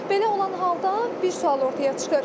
Belə olan halda bir sual ortaya çıxır.